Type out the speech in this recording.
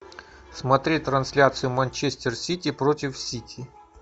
смотреть трансляцию манчестер сити против сити